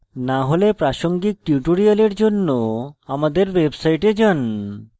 না হলে প্রাসঙ্গিক tutorials জন্য আমাদের website যান